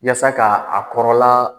Yasa ka a kɔrɔla